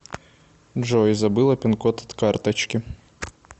джой забыла пинкод от карточки